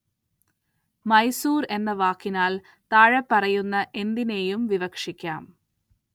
മൈസൂര്‍ എന്ന വാക്കിനാല്‍ താഴെപ്പറയുന്ന എന്തിനേയും വിവക്ഷിക്കാം